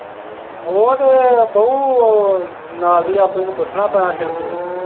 ਉਹ ਤੇ ਬਉ ਨਾਲ ਦੀ ਆਪਣੀ ਨੂੰ ਪੁੱਛਣਾ ਪੈਣਾ ਨੂੰ।